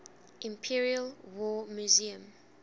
imperial war museum